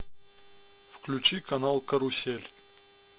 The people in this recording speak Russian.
включи канал карусель